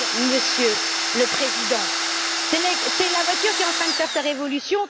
Monsieur le Président, c'est la voiture qui est en train de faire sa révolution.